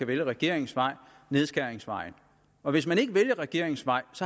vælge regeringens vej nedskæringsvejen og hvis man ikke vælger regeringens vej